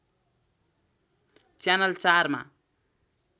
channel ४ मा